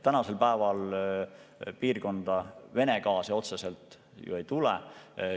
Tänasel päeval piirkonda Vene gaasi otseselt ei tule.